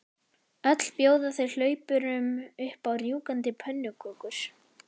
Öll bjóða þau hlaupurum upp á rjúkandi pönnukökur.